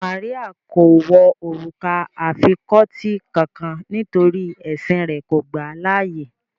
Màríà kò wọ orúkà afikọtí kánkán nítorí ẹ̀ṣìn rẹ̀ kò gbà laàyè